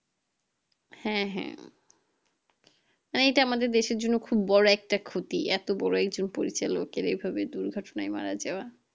হ্যাঁ হ্যাঁ এটা আমাদের দেশের জন্য খুব বড় একটা ক্ষতি এত বড় একজন পরিচালকের এই ভাবে দুর্ঘটনায় মারা যাওয়া